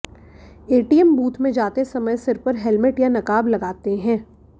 ATM booth में जाते समय सिर पर हेल्मेट या नकाब लगाते हैं